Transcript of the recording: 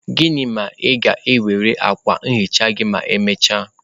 Gịnị ma ị ga-ewere akwa nhicha gị ma emechaa?